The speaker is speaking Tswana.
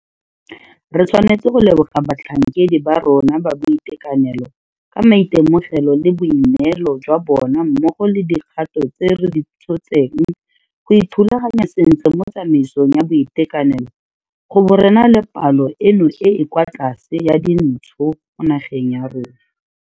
Re tshwanetse go leboga batlhankedi ba rona ba boitekanelo ka maitemogelo le boineelo jwa bona mmogo le dikgato tse re di tshotseng go ithulaganya sentle mo tsamaisong ya boitekanelo go bo re na le palo eno e e kwa tlase ya dintsho mo nageng ya rona.